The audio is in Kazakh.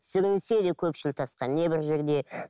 сүрінсе де көпшіл тасқа не бір жерде